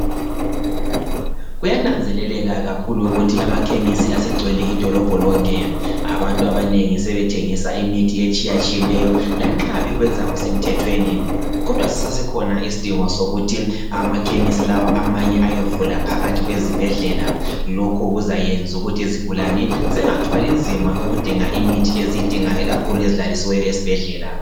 kunanzeleleka kakhulu ukuthi amakhemisi asegcwele idolobho lonke abantu abanengi sebethengisa imithi etshiyatshiyeneyo lanxa bekwenza kusemthethweni kodwa sisasekhona isidingo sokuthi amakhemisi lawa amanye ayevulwa phakathi kwezibhedlela lokhu kuzayenza ukuthi izigulane zingathwali nzima ukudinga imithi ikakhulu ezilalisiweyo esibhedlela